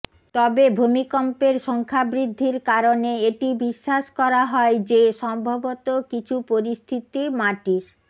তবে ভূমিকম্পের সংখ্যা বৃদ্ধির কারণে এটি বিশ্বাস করা হয় যে সম্ভবত কিছু পরিস্থিতি মাটির